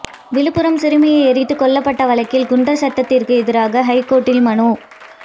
விழுப்புரம் சிறுமி எரித்துக் கொல்லப்பட்ட வழக்கில் குண்டர் சட்டத்திற்கு எதிராக ஐகோர்ட்டில் மனு